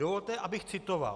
Dovolte, abych citoval.